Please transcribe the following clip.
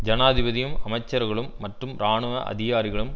ஜனாதிபதியும் அமைச்சர்களும் மற்றும் இராணுவ அதிகாரிகளும்